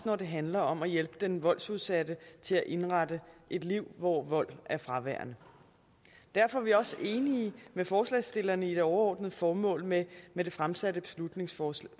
når det handler om at hjælpe den voldsudsatte til at indrette et liv hvor vold er fraværende derfor er vi også enige med forslagsstillerne i det overordnede formål med med det fremsatte beslutningsforslag